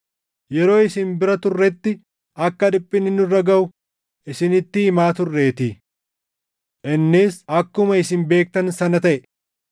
Yeroo isin bira turretti akka dhiphinni nurra gaʼu isinitti himaa turreetii. Innis akkuma isin beektan sana taʼe.